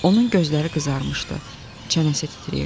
Onun gözləri qızarmışdı, çənəsi titrəyirdi.